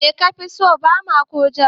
Me kafi so, Bama ko Jam?